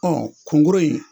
Ɔ kunkoro in